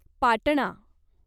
Patna